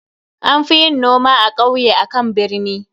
An fi yin noma a kauye akan a birni.